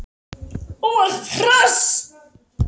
Þú ert hress!